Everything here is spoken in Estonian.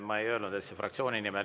Ma ei öelnud, et see on fraktsiooni nimel.